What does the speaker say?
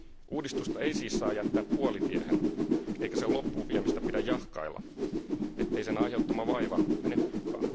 Uudistusta ei siis saa jättää puolitiehen eikä sen loppuun viemistä pidä jahkailla, ettei sen aiheuttama vaiva mene hukkaan.